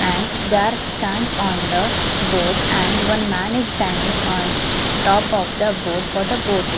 And there stand on the boat and one man is standing on top of the boat for the boating.